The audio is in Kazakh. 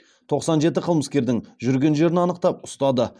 тоқсан жеті қылмыскердің жүрген жерін анықтап ұстады